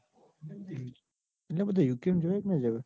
એટલે બધા યુકે મોં જવાય કે ના જવાય.